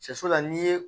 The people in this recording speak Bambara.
Sɛso la n'i ye